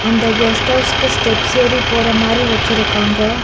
அந்த கெஸ்ட் ஹவுஸ்கு ஸ்டெப்ஸ் ஏறி போற மாரி வச்சிருக்காங்க.